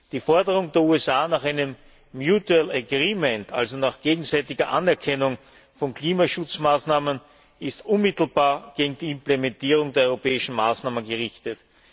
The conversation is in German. Die Forderung der USA nach einem mutual agreement also nach gegenseitiger Anerkennung von Klimaschutzmaßnahmen, ist unmittelbar gegen die Implementierung der europäischen Maßnahmen gerichtet.